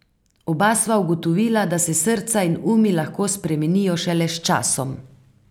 Oba sva ugotovila, da se srca in umi lahko spremenijo šele s časom.